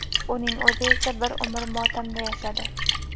Uning o‘zi esa bir umr motamda yashadi.